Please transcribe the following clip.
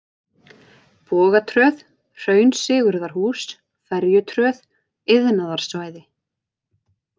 Bogatröð, Hraun Sigurðarhús, Ferjutröð, Iðnaðarsvæði